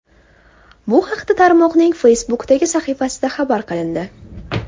Bu haqda tarmoqning Facebook’dagi sahifasida xabar qilindi .